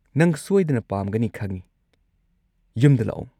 ꯅꯪ ꯁꯣꯏꯗꯅ ꯄꯥꯝꯒꯅꯤ ꯈꯪꯢ, ꯌꯨꯝꯗ ꯂꯥꯛꯑꯣ!